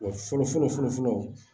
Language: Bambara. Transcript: Wa fɔlɔ fɔlɔ fɔlɔ fɔlɔ